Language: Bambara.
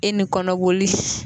E ni kɔnɔboli